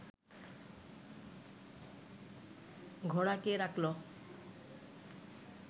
ঘোড়া কে রাখল